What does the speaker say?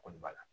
Kɔni b'a la